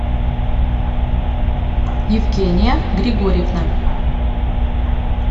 евгения григорьевна